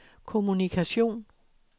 kommunikation